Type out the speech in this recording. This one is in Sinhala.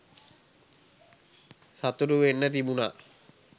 සතුටු වෙන්න තිබුණා